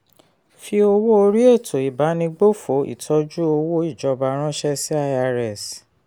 fi owó orí ètò ìbánigbófò ìtọ́jú owó ìjọba ránṣẹ́ sí irs.